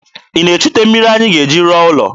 Ị na-echute mmiri anyị ga-eji rụọ ụlọ?